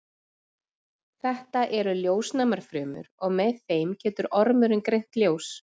þetta eru ljósnæmar frumur og með þeim getur ormurinn greint ljós